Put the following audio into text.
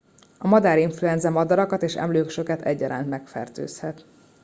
a madárinfluenza madarakat és emlősöket egyaránt megfertőzhet